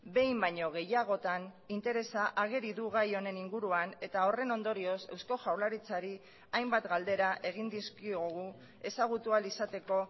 behin baino gehiagotan interesa ageri du gai honen inguruan eta horren ondorioz eusko jaurlaritzari hainbat galdera egin dizkiogu ezagutu ahal izateko